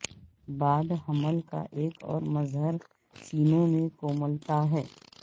بعد حمل کا ایک اور مظہر سینوں میں کوملتا ہے